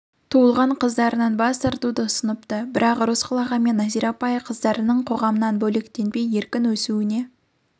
туылған қыздарынан бас тартуды ұсыныпты бірақ ырысқұл ағамен нәзира апай қыздарының қоғамнан бөлектенбей еркін өсуіне